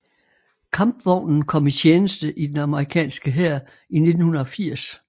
Kampvognen kom i tjeneste i den amerikanske hær i 1980